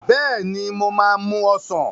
Bẹ́ẹ̀ ni, mo máa mú ọsàn.